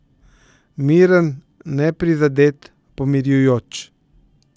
Miren, neprizadet, pomirjujoč.